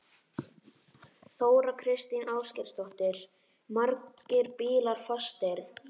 Þóra Kristín Ásgeirsdóttir: Margir bílar fastir?